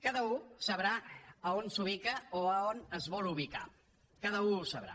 cada u sabrà a on s’ubica o a on es vol ubicar cada u ho sabrà